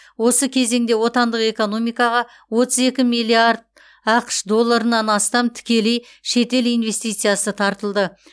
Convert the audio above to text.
осы кезеңде отандық экономикаға отыз екі миллиард ақш долларынан астам тікелей шетел инвестициясы тартылды